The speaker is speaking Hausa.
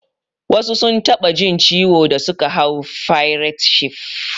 Wasu sun taɓa jin ciwo da suka hau fairet shif